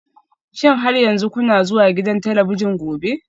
Shin har yanzu kuna zuwa gidan talabijin gobe?